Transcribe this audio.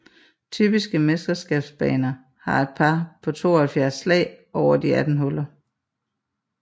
Typiske mesterskabsbaner har et par på 72 slag over de 18 huller